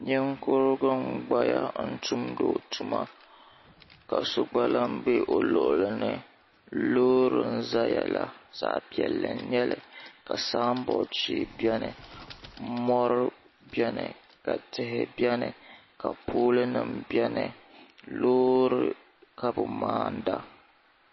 ninkurigu n-gbaya n-tumdi o tuma ka so gba be o luɣili ni loori n-zaya la zaɣ' piɛlli nyɛla ka sambod shee beni mɔri beni ka tihi beni ka poolinima beni loori ka bɛ maanda.